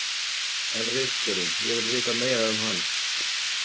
En ritstjórinn, ég vil vita meira um hann?